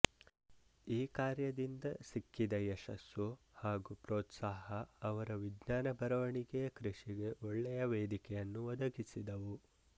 ಈ ಕಾರ್ಯದಿಂದ ಸಿಕ್ಕಿದ ಯಶಸ್ಸು ಹಾಗೂ ಪ್ರೋತ್ಸಾಹ ಅವರ ವಿಜ್ಞಾನ ಬರವಣಿಗೆಯ ಕೃಷಿಗೆ ಒಳ್ಳೆಯ ವೇದಿಕೆಯನ್ನು ಒದಗಿಸಿದವು